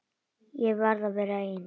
Ég verð að vera ein.